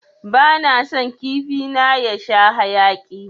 Bana son kifi na ya sha haƴaki.